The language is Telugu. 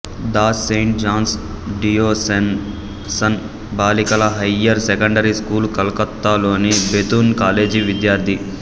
దాస్ సెయింట్ జాన్స్ డియోసెసన్ బాలికల హయ్యర్ సెకండరీ స్కూల్ కలకత్తాలోని బెతున్ కాలేజీ విద్యార్థి